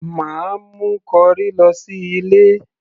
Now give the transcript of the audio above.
mà á mú corrie lọ sí ilé